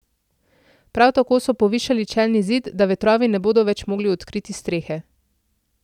Prav tako so povišali čelni zid, da vetrovi ne bodo več mogli odkriti strehe.